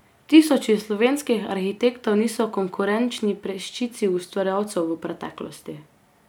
Tisoči slovenskih arhitektov niso konkurenčni peščici ustvarjalcev v preteklosti.